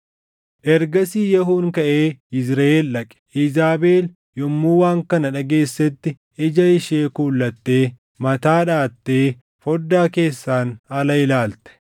Ergasii Yehuun kaʼee Yizriʼeel dhaqe. Iizaabel yommuu waan kana dhageessetti ija ishee kuulattee mataa dhaʼattee foddaa keessaan ala ilaalte.